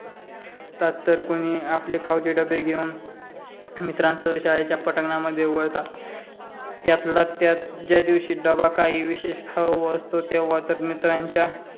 तात तर कोणी आपले खाऊचे डबे घेऊन मित्रांसोबत शाळेच्या पटांगणामध्ये वळतात. त्यातल्या त्यात ज्या दिवशी डबा काही विशेष खाऊ असतो तेव्हा तर मित्रांच्या